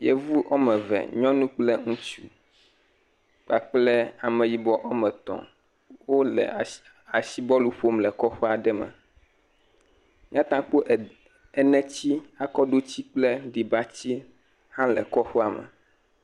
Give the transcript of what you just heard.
Yevu woame eve, nyɔnu kple ŋutsu kpakple ameyibɔ woame etɔ̃, wole asibɔlu ƒom le kɔƒe aɖe me, míata kpɔ ede, eneti, akɔɖuti kple aɖibati hã le kɔƒea me.